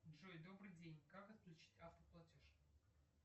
джой добрый день как отключить автоплатеж